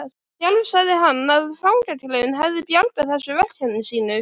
Sjálfur sagði hann að fangaklefinn hefði bjargað þessu verkefni sínu.